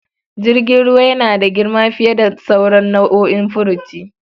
Jirgin ruwa yana da girma fiye da sauran nau'o'in furuci.